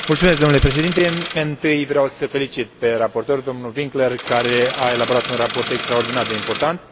Domnule președinte, întâi vreau să îl felicit pe raportor, domnul Winkler, care a elaborat un raport extraordinar de important.